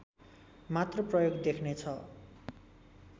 मात्र प्रयोग देख्नेछ